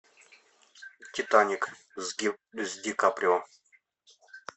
титаник с ди каприо